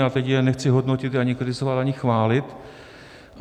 A teď je nechci hodnotit, ani kritizovat, ani chválit.